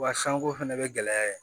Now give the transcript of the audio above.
Wa sanko fɛnɛ bɛ gɛlɛya yen